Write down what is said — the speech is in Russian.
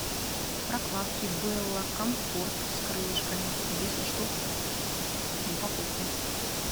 прокладки белла комфорт с крылышками десять штук в упаковке